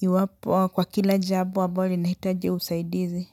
iwapo kwa kila jambo ambalo linahitaji usaidizi.